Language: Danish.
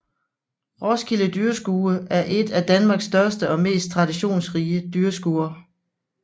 Roskilde Dyrskue er et af Danmarks største og mest traditionsrige dyrskuer